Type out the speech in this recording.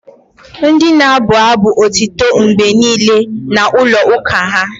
Ndị na-abụ abụ otito mgbe niile na-ụlọ uka ​​ha